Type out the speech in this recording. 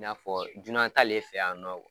I n'a fɔ junan ta le fɛ yan nɔ.